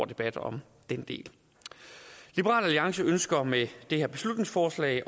debat om den del liberal alliance ønsker med det her beslutningsforslag